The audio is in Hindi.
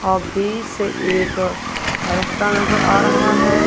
आगे से एक अह रस्ता नजर आ रहा है।